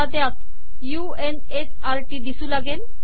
आता त्यात u n s r TT दिसू लागेल